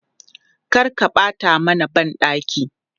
Kar ka ɓata mana ban ɗaki!